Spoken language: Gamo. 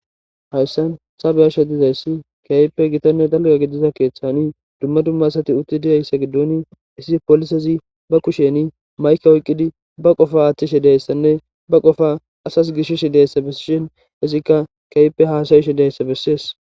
Hayssan sabeyasha dizayssi keyppe gitanne dalga gidiza keeththani dumma dummasati utti diyayssa giddoni isi polisezi ba kusheni mayke oyqqidi ba qofa aaththishi deyssanne ba qofa asas gishish deyssa bessishin izikka keyppe haasayishe deyssa bessees.